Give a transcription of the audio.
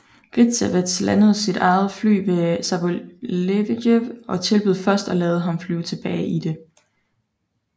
Gritsevets landede sit eget fly ved Sabalujev og tilbød først at lade ham flyve tilbage i det